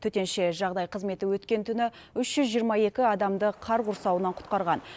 төтенше жағдай қызметі өткен түні үш жүз жиырма екі адамды қар құрсауынан құтқарған